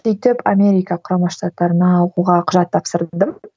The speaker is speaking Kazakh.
сөйтіп америка құрама штаттарына оқуға құжат тапсырдым